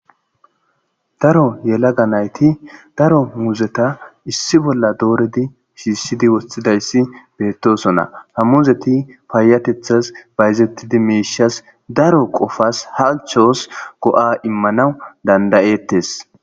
daro yelaga nayti daro muzeta issi bolla dooredi shiissidi woththidayssi beettosona ha muzeti paayatethas bayzettidi miishas daro qofas halchoos go'a immanawu dandayettes